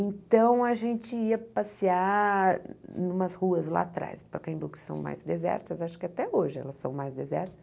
Então a gente ia passear em umas ruas lá atrás, Pacaembu que são mais desertas, acho que até hoje elas são mais desertas.